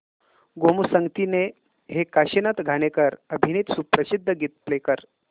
गोमू संगतीने हे काशीनाथ घाणेकर अभिनीत सुप्रसिद्ध गीत प्ले कर